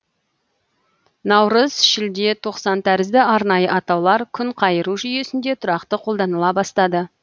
наурыз шілде тоқсан тәрізді арнайы атаулар күнқайыру жүйесінде тұрақты қолданыла бастады